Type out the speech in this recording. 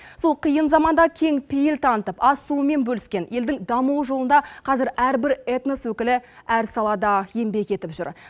сол қиын заманда кеңпейіл танытып ас суымен бөліскен елдің дамуы жолында қазір әрбір этнос өкілі әр салада еңбек етіп жүр